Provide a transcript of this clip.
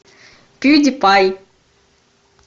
пьюдипай